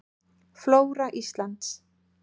Flóra Íslands.